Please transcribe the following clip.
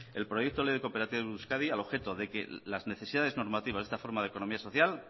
el proyecto de ley de cooperativas de euskadi al objeto de que las necesidades normativas de esta forma de economía social